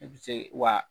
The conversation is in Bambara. I bɛ se wa